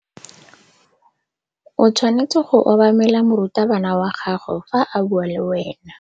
O tshwanetse go obamela morutabana wa gago fa a bua le wena.